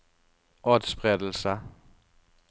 atspredelse